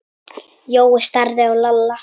Jói starði á Lalla.